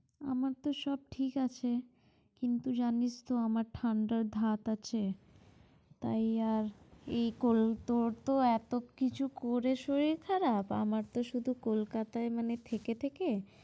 আমার তো সব ঠিক আছে। কিন্তু জানিস তো আমার ঠাণ্ডায় ভাব আছে, তাই আর এই কল তো এত কিছু করে শরীল খারাপ আমার তো শুধু কলকাতায় মানে থেকে থেকে